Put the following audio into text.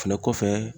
Fɛnɛ kɔfɛ